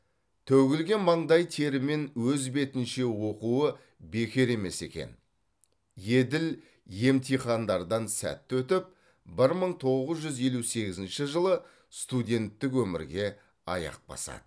төгілген маңдай тері мен өз бетінше оқуы бекер емес екен еділ емтихандардан сәтті өтіп бір мың тоғыз жүз елу сегізінші жылы студенттік өмірге аяқ басады